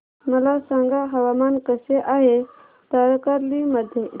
मला सांगा हवामान कसे आहे तारकर्ली मध्ये